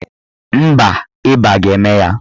Mba, ịba ga-eme ya.